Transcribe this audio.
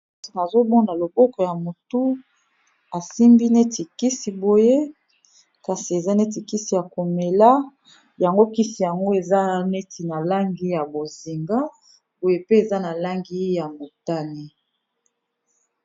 Nazomona loboko ya mutu, asimbi neti kisi boye kasi eza neti kisi ya komela yango kisi yango eza neti na langi ya bozinga boye pe eza na langi ya motani.